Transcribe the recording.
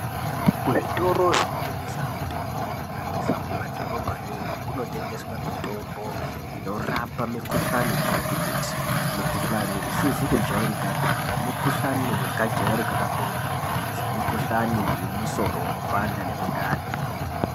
Kuzvitoro zvinotengeswa mitombo kunyanyisa kumadhorobhayo iyoyo kunotengeswa mitombo inorapa mikuhlani yakati kuti mikuhlani isizi kujairikapi nemikuhlani yakajairika kakurutu semikuhlani yemusoro unopanda nemundani.